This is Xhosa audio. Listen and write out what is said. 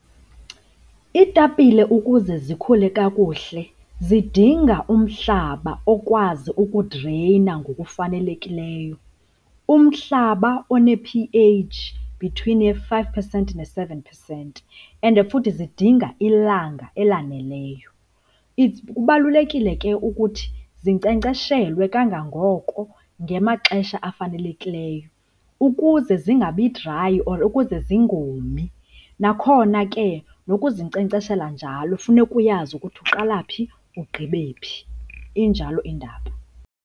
Iitapile ukuze zikhule kakuhle zidinga umhlaba okwazi ukudreyina ngokufanelekileyo. Umhlaba one-P_H between ye-five percent ne-seven percent, and futhi zidinga ilanga elaneleyo. Kubalulekile ke ukuthi zinkcenkceshelwe kangangoko ngemaxesha afanelekileyo ukuze zingabi dry or ukuze zingomi, nakhona ke nokuzinkcenkceshela njalo funeka uyazi ukuthi uqala phi ugqibe phi. Injalo indaba.